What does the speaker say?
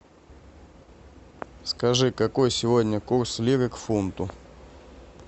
скажи какой сегодня курс лиры к фунту